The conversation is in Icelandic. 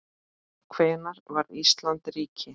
Hvenær varð Ísland ríki?